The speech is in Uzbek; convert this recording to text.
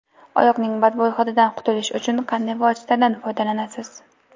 Oyoqning badbo‘y hididan qutulish uchun qanday vositadan foydalanasiz?